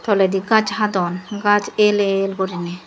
toledi gaz hadon gaz el el gurinei.